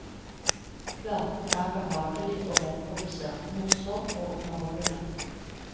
Platen er behagelig og velprodusert, morsom og underholdende.